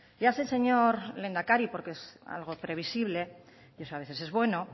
ya sé señor lehendakari porque es algo previsible y eso a veces es bueno